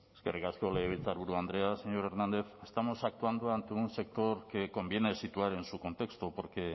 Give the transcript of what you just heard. eskerrik asko legebiltzarburu andrea señor hernández estamos actuando ante un sector que conviene situar en su contexto porque